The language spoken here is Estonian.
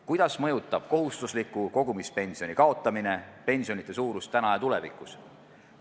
Kuidas mõjutab kohustusliku kogumispensioni kaotamine pensionite suurust täna ja tulevikus?